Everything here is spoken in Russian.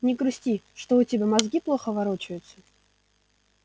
не грусти что у тебя мозги плохо ворочаются